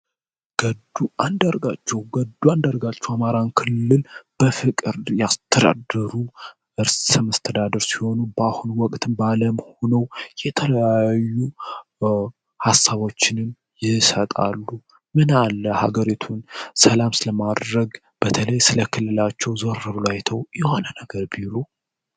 ገዱ አንደርጋቸው ገዱ አንደርጋቸው አማራን ክልል በፍቅር ያስተድሩ እርስስምስተዳደር ሲሆኑ በአሁን ወቅትን ባዓለምሆነው የተለያዩ ሀሳቦችንም ይሰጣሉ ምንለ ሀገሬቱን ሰላምስ ለማድረግ በተለይ ስለክልላቸው ዞርብላይተው ዮሆነ ነገር ቢሉ።